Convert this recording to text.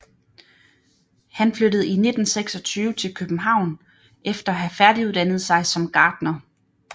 Han flyttede i 1926 til København efter at have færdiguddannet sig som gartner